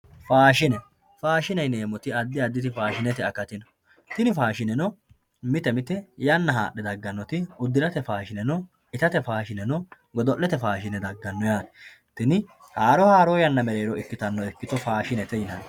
faashine faashine yineemoti addi addiri faashinete akati no tini faashineno miten mite yanna hadhe dagganoti udirate faashine no, itate faashine no, godo'lete faashine daganno yaate tinni haroo haroo yanna mereero ikkitanno ikkito faashinete yinanni